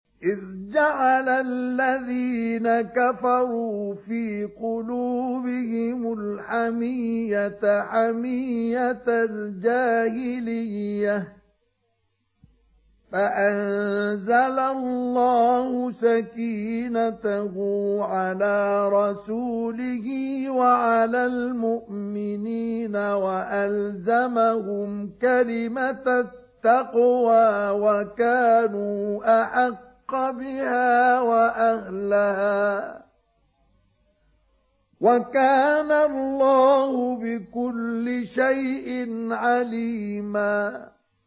إِذْ جَعَلَ الَّذِينَ كَفَرُوا فِي قُلُوبِهِمُ الْحَمِيَّةَ حَمِيَّةَ الْجَاهِلِيَّةِ فَأَنزَلَ اللَّهُ سَكِينَتَهُ عَلَىٰ رَسُولِهِ وَعَلَى الْمُؤْمِنِينَ وَأَلْزَمَهُمْ كَلِمَةَ التَّقْوَىٰ وَكَانُوا أَحَقَّ بِهَا وَأَهْلَهَا ۚ وَكَانَ اللَّهُ بِكُلِّ شَيْءٍ عَلِيمًا